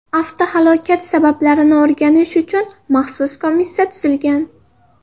Avtohalokat sabablarini o‘rganish uchun maxsus komissiya tuzilgan .